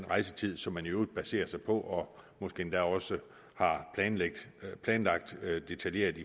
rejsetiden som man i øvrigt baserer sig på og måske endda også har planlagt detaljeret